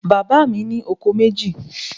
Bàbá mi ni ọkọ̀ méjì